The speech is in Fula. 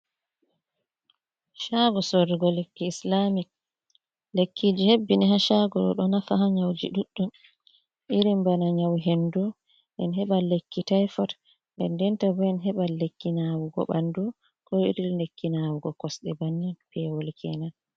Shaago sorugo lekki Isilamic, lekkiji hebbini ha shaago ɗo nafa ha nyauji ɗuɗɗum, irin bana nyau hendu, en heɓa lekki taifot, dendenta bo en heɓa lekki nawugo ɓandu ko iri lekki nawugo kosɗe bannin, pewol kenan.